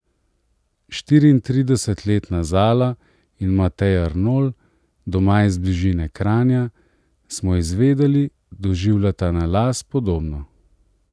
Štiriintridesetletna Zala in Matej Arnolj, doma iz bližine Kranja, smo izvedeli, doživljata na las podobno.